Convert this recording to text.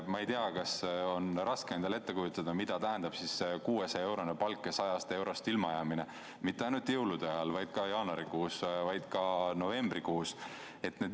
Ma ei tea, kas on raske endale ette kujutada, mida tähendab 600-eurone palk ja sealjuures 100 eurost ilmajäämine – mitte ainult jõulude ajal, vaid ka jaanuarikuus ja ka novembrikuus.